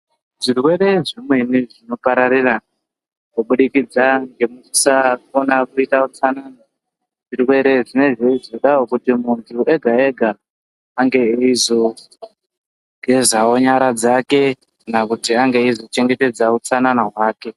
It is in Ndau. Zvirwere zvimweni zvinopararira kubudikidza ngekusakone kuite utsananana zvirwere zvinenge zveizodawo kuti muntu ega ega ange eizogeza nyara dzake kana kuti anga eizochengetedza utsanana hwake.